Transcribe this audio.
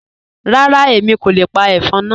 Rárá, Èmi kò le pa ẹ̀fọ́n náà.